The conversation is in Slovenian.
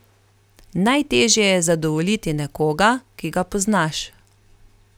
Najtežje je zadovoljiti nekoga, ki ga poznaš.